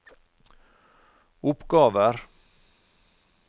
oppgaver